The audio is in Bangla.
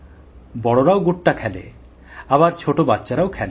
বড়রা ড্যাঙগুলি খেলে আবার ছোট বাচ্চারাও খেলে